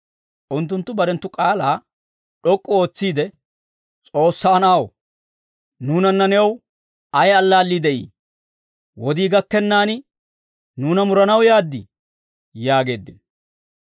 Unttunttu barenttu k'aalaa d'ok'k'u ootsiide, «S'oossaa Na'aw, nuunanna new ayi allaallii de'ii? Wodii gakkennaan nuuna muranaw yaaddii?» yaageeddino.